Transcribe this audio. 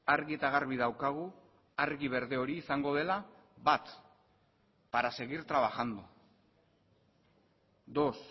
argi eta garbi daukagu argi berde hori izango dela bat para seguir trabajando dos